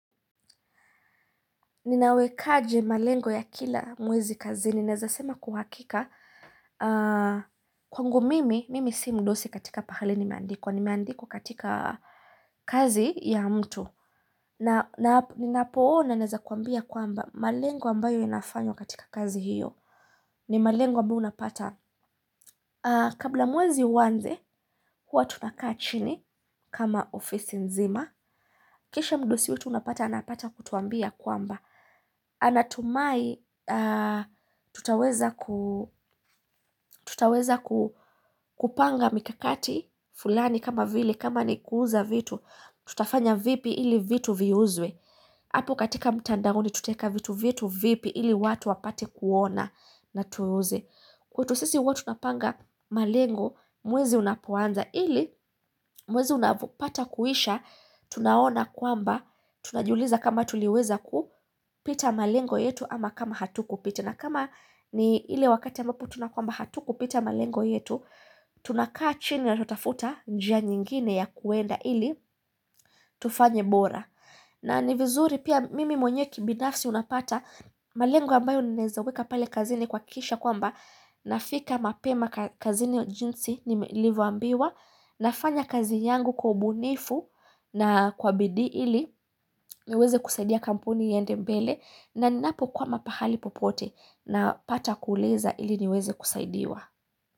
Ninawekaje malengo ya kila mwezi kazini naezasema kuhakika Kwangu mimi, mimi si mdosi katika pahali nimeandikwa nimeandikwa katika kazi ya mtu Ninapoona naeza kuambia kwamba malengo ambayo inafanywa katika kazi hiyo ni malengo ambayo unapata kabla mwezi uanze huwa tunakaa chini kama ofisi nzima kisha mdosi wetu unapata anapata kutuambia kwamba anatumai tutaweza kupanga mikakati fulani kama vile kama ni kuuza vitu tutafanya vipi ili vitu viuzwe hapo katika mtandaoni tutaeka vitu vyetu vipi ili watu wapate kuona na tuuze. Kwetu sisi huwa tunapanga malengo mwezi unapoanza ili mwezi unavopata kuisha tunaona kwamba tunajiuliza kama tuliweza kupita malengo yetu ama kama hatukupita na kama ni ile wakati ambapo tunakwamba hatukupita malengo yetu, tunakaa chini na tunafuta njia nyingine ya kuenda ili tufanye bora. Na ni vizuri pia mimi mwenye kibinafsi unapata malengo ambayo ninaezaweka pale kazini kuhakisha kwamba nafiika mapema kazini jinsi nilivyoambiwa. Nafanya kazi yangu kwa ubunifu na kwa bidii ili niweze kusaidia kampuni iende mbele na ninapokwama pahali popote napata kuuliza ili niweze kusaidiwa.